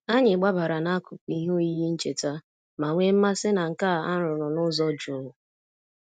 Anyị gbabara n'akụkụ ihe oyiyi ncheta ma nwee mmasị na nka a rụrụ n'ụzọ jụụ.